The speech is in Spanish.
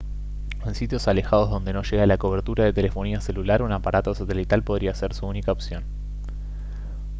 en sitios alejados donde no llega la cobertura de telefonía celular un aparato satelital podría ser su única opción